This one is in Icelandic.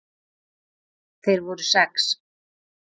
Þeir voru sex.